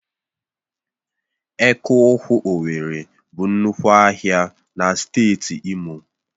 Eke ụkwụ owerri bụ nnukwu ahịa na steeti imo